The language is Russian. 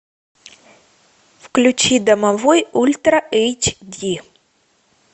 включи домовой ультра эйч ди